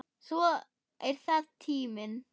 Svo er það tíminn.